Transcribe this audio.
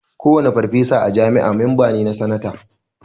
Kowane farfesa a jami'a memba ne na sanate